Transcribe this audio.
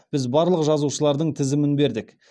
біз барлық жазушылардың тізімін бердік